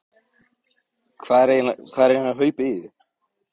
Hvað er eiginlega hlaupið í þig?